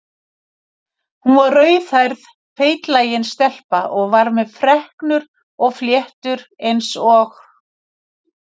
Hún var rauðhærð feitlagin stelpa og var með freknur og fléttur eins og